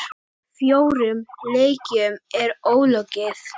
Fjórum leikjum er ólokið.